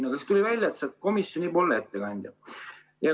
Aga siis tuli välja, et sa oled komisjoni ettekandja.